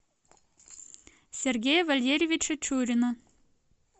сергея валерьевича чурина